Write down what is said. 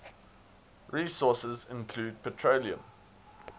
resources include petroleum